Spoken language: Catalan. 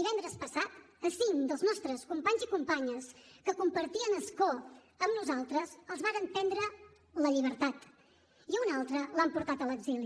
divendres passat a cinc dels nostres companys i companyes que compartien escó amb nosaltres els varen prendre la llibertat i a una altra l’han portat a l’exili